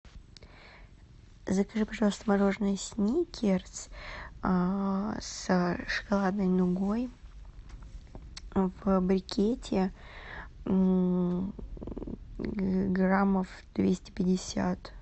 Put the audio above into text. закажи пожалуйста мороженое сникерс с шоколадной нугой в брикете граммов двести пятьдесят